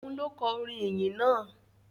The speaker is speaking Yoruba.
Òun ló kọ orin ìyìn náà?